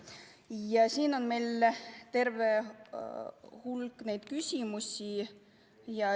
Ja siin on meil terve hulk küsimusi.